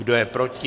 Kdo je proti?